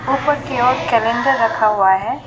ऊपर कि ओर कैलेंडर रखा हुआ है।